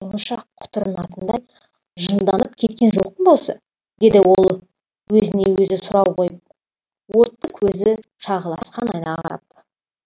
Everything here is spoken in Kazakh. сонша құтырынатындай жынданып кеткен жоқпын ба осы деді ол өзіне өзі сұрау қойып отты көзі шағылысқан айнаға қарап